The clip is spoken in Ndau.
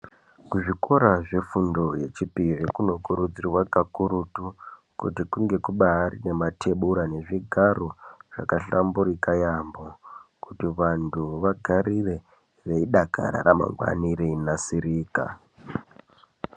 Kuzvikora zvefundo yechipiri, kunokurudzirwa kakurutu. Kuti kunge kubaari ne matebura ngezvigaro zvakahlamburika yaampho. Kuti vantu vagarire veidakara ramangwana reinasirika.